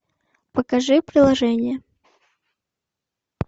покажи приложение